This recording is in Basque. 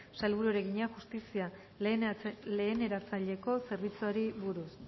sailburuari egina justizia leheneratzaileko zerbitzuari buruz